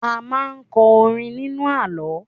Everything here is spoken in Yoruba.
A máa ń kọ orin nínú àlọ́